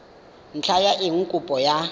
ntlha ya eng kopo ya